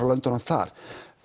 löndunum þar